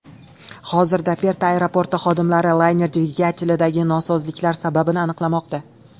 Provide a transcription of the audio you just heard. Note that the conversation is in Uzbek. Hozirda Perta aeroporti xodimlari layner dvigatelidagi nosozliklar sababini aniqlamoqda.